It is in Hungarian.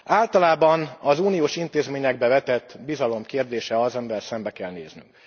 Általában az uniós intézményekbe vetett bizalom kérdése az, amivel szembe kell néznünk.